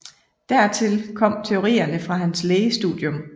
Dertil kom teorierne fra hans lægestudium